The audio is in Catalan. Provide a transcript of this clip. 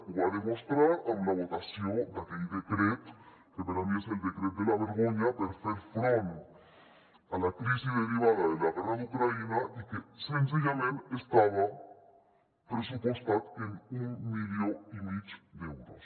ho va demostrar amb la votació d’aquell decret que per a mi és el decret de la vergonya per fer front a la crisi derivada de la guerra d’ucraïna i que senzillament estava pressupostat en un milió i mig d’euros